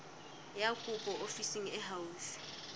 ya kopo ofising e haufi